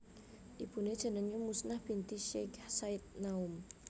Ibuné jenengé Muznah binti Syech Said Naum